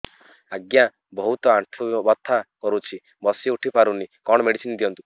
ଆଜ୍ଞା ବହୁତ ଆଣ୍ଠୁ ବଥା କରୁଛି ବସି ଉଠି ପାରୁନି କଣ ମେଡ଼ିସିନ ଦିଅନ୍ତୁ